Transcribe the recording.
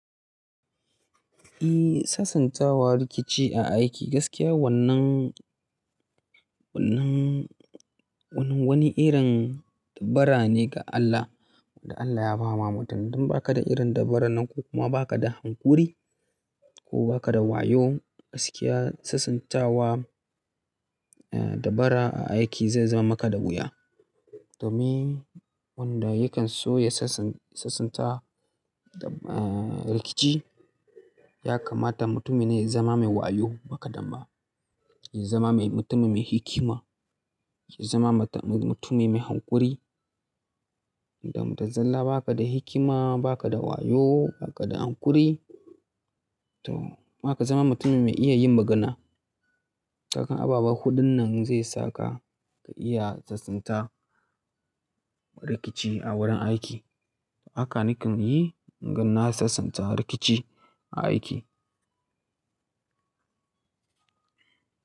Ehh, sasantawa rikici a aiki gaskiya wannan, wannan, wannan wani irin dabara ne ga Allah wanda Allah ya ba ma mutane. Idan ba ka da irin dabarar nan ko kuma ba ka da haƙuri ko ba ka da wayo, gaskiya sasantawa eh dabara a aiki zai zama maka da wuya. Domin wanda yakan so ya sasan-- sasanta eh rikici ya kamata mutum ya zama mai wayo ba kaɗan ba, ya zama mai mutum mai hikima, ya zama mata-- mutumin mai hankuri. Dan da zallah ba ka da hikima, ba ka da wayo, ba ka da haƙuri to kuma ka zama mutum mai iya yin magana. Haka abubuwa huɗun nan zai saka ka iya sasanta rikici a wurin aiki. Haka nakan yi naga na sasanta rikici a aiki.